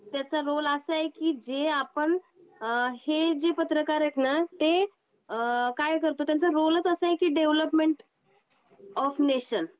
त्याचा रोल असा आहे कि जे आपण अ हे जे पत्रकार आहेत ना ते अ काय करतो त्यांचा रोलच असा आहे की डेव्हलपमेंट ऑफ नेशन.